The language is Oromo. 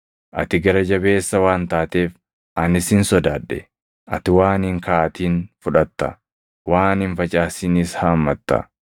Ati gara jabeessa waan taateef ani sin sodaadhe; ati waan hin kaaʼatin fudhatta; waan hin facaasinis haammatta.’